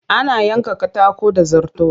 Ana yanka katako da zarto